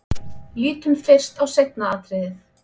Lítum fyrst á seinna atriðið.